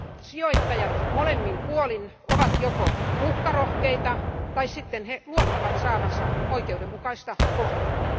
Sijoittajat molemmin puolin ovat joko uhkarohkeita tai sitten he luottavat saavansa oikeudenmukaista kohtelua.